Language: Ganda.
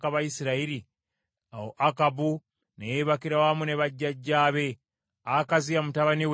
Awo Akabu ne yeebakira wamu ne bajjajjaabe, Akaziya mutabani we n’amusikira.